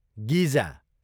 गिजा